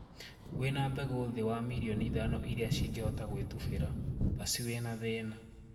Wina mbegũ thii wa mirioni ithano iria cingehota gũitũbira, basi wina thina.